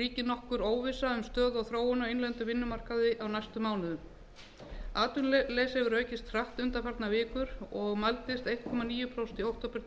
ríkir nokkur óvissa um stöðu og þróun á innlendum vinnumarkaði á næstu mánuðum atvinnuleysi hefur aukist hratt undanfarnar vikur og mældist einn komma níu prósent í október tvö